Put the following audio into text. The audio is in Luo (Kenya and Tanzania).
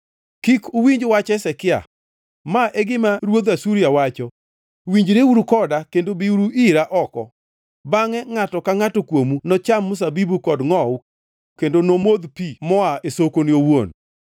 “Kik uwinj wach Hezekia. Ma e gima ruodh Asuria wacho: Winjreuru koda kendo biuru ira oko. Bangʼe ngʼato ka ngʼato kuomu nocham mzabibu kod ngʼowu kendo nomodh pi moa e sokone owuon,